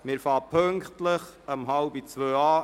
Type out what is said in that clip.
Wir fahren pünktlich um 13.30 Uhr weiter.